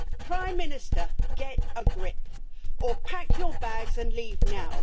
Prime Minister, get a grip, or pack your bags and leave now.